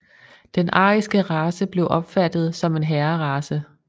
Den ariske race blev opfattet som en herrerace